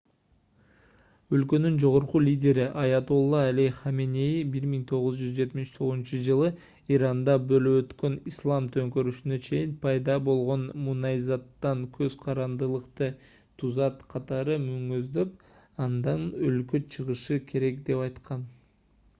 өлкөнүн жогорку лидери аятолла али хаменеи 1979-жылы иранда болуп өткөн ислам төңкөрүшүнө чейин пайда болгон мунайзаттан көз карандылыкты тузак катары мүнөздөп андан өлкө чыгышы керек деп айткан